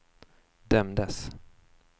dömdes